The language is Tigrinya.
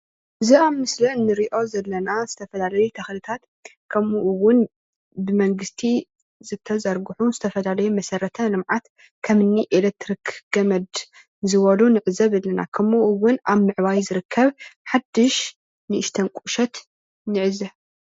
እዚ ኣብ ምስሊ ንሪኦ ዘለና ዝተፈላለዩ ተክልታት ከምኡ እዉን ብመንግስቲ ዝተዘርግሑ ዝተፈላለዩ መሰረተ ልምዓት ክምኒ ኤለትሪክ ገመድ ዝበሉ ንዕዘብ ኣለና ከምኡ እዉን ኣብ ምዕባይ ዝርከብ ሓዱሽ ንእሽተይ ቁሸት ንዕዘብ።